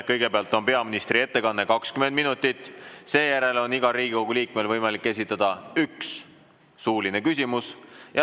Kõigepealt on peaministri ettekanne 20 minutit ning seejärel on igal Riigikogu liikmel võimalik esitada üks suuline küsimus.